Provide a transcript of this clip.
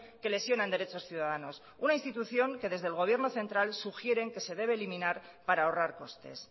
que lesionan derechos ciudadanos una institución que desde el gobierno central sugieren que se debe eliminar para ahorrar costes